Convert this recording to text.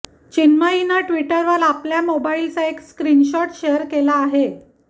चिन्मयीनं ट्विटरवर आपल्या मोबाईलचा एक स्क्रीनशॉट शेअर केला आहे